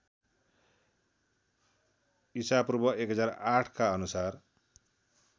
ईपू १००८ का अनुसार